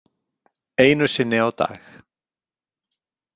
Einu sinni á dag.